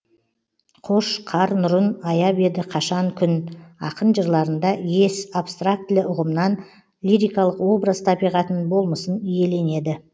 қош қар нұрын аяп еді қашан күн ақын жырларында ес абстрактілі ұғымнан лирикалық образ табиғатын болмысын иеленеді